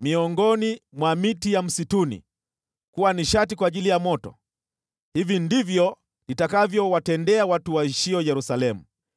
miongoni mwa miti ya msituni kuwa nishati kwa ajili ya moto, hivyo ndivyo nitakavyowatendea watu waishio Yerusalemu.